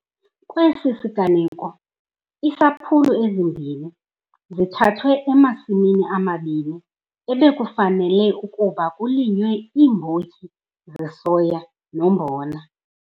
Kwesi siganeko iisampulu ezimbini zithathwe emasimini amabini ebekufanele ukuba kulinywe iimbotyi zesoya nombona.